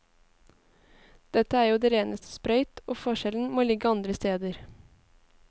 Dette er jo det reneste sprøyt, og forskjellen må ligge andre steder.